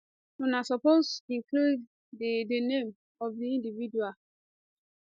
una suppose include di di name of di individual